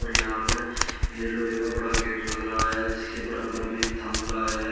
और यहां पर येलो एक बड़ा गेट लग रहा हैं जिसके बरबर में एक थामला है।